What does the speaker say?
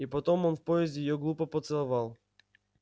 и потом в поезде её глупо поцеловал